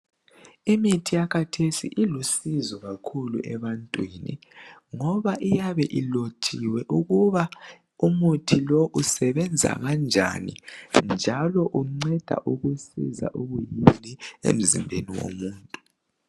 Imithi yakathesi ilusizo kakhulu ebantwini ngoba iyabe ilotshiwe ukuba umuthi lo usebenza kanjani njalo unceda ukusiza ukuyini emzimbeni womuntu.